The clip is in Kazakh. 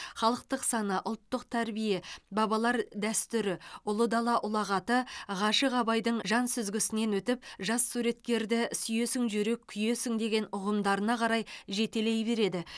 халықтық сана ұлттық тәрбие бабалар дәстүрі ұлы дала ұлағаты ғашық абайдың жан сүзгісінен өтіп жас суреткерді сүйесің жүрек күйесің деген ұғымдарына қарай жетелей береді